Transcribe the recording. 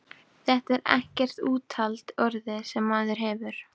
Þetta er ekkert úthald orðið, sem maðurinn hefur!